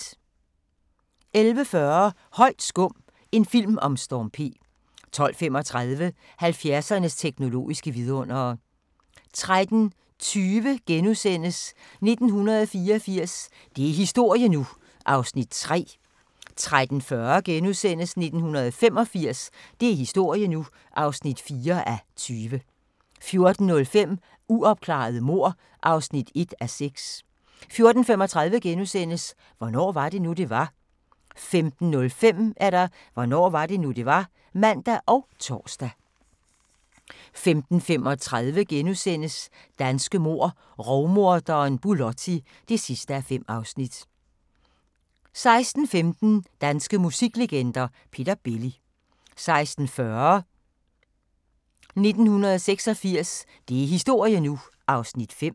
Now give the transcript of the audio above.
11:40: Højt skum – en film om Storm P 12:35: 70'ernes teknologiske vidundere 13:20: 1984 – det er historie nu! (3:20)* 13:40: 1985 – det er historie nu! (4:20)* 14:05: Uopklarede mord (1:6) 14:35: Hvornår var det nu, det var? * 15:05: Hvornår var det nu, det var? (man og tor) 15:35: Danske mord: Rovmorderen Bulotti (5:5)* 16:15: Danske musiklegender: Peter Belli 16:40: 1986 – det er historie nu! (5:20)